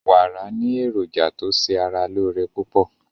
Wàrà ni èrójà tó ṣè ara lọ́ọ̀ré pupọ̀